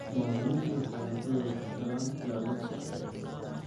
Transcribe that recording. Muwaadiniintu waxay hantidooda ku helaan ilaalin sharci ah.